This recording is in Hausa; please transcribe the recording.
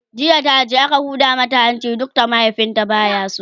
jiya taje aka Huda mata hanci duk da mahaifinsu baya so